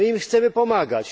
My im chcemy pomagać.